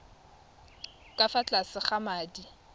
ka fa tlase ga madi